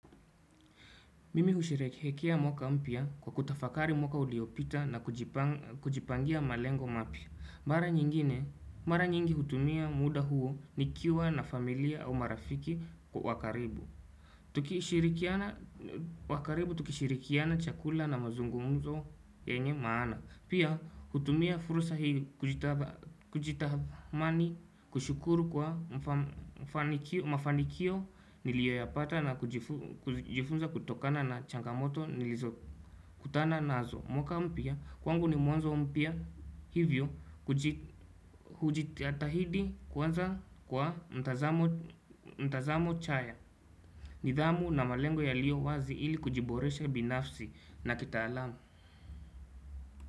Mimi husherehekea mwaka mpya kwa kutafakari mwaka uliopita na kujipangia malengo mapya mara nyingi hutumia muda huo nikiwa na familia au marafiki wa karibu tukishirikiana, wa karibu tukishirikiana chakula na mazungumzo yenye maana Pia hutumia fursa hii kujitamani kushukuru kwa mafanikio nilioyapata na kujifunza kutokana na changamoto nilizo kutana nazo mwaka mpia kwangu ni mwanzo mpya hivyo kujitahidi kwanza kwa mtazamo chaya nidhamu na malengo yalio wazi ili kujiboresha binafsi na kitaalamu.